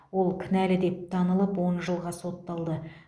ол кінәлі деп танылып он жылға сотталды